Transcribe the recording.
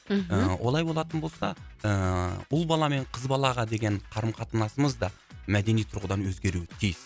мхм ы олай болатын болса ыыы ұл бала мен қыз балаға деген қарым қатынасымыз да мәдени тұрғыдан өзгеруі тиіс